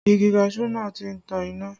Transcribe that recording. Igi kaṣuú náà tí ń tan iná